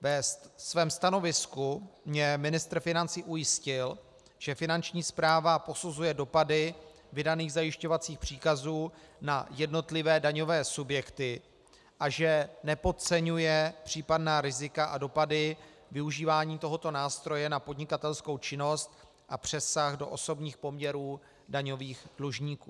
Ve svém stanovisku mě ministr financí ujistil, že Finanční správa posuzuje dopady vydaných zajišťovacích příkazů na jednotlivé daňové subjekty a že nepodceňuje případná rizika a dopady využívání tohoto nástroje na podnikatelskou činnost a přesah do osobních poměrů daňových dlužníků.